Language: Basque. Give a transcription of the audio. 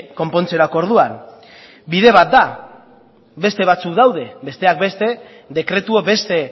konpontzerako orduan bide bat da beste batzuk daude besteak beste dekretua beste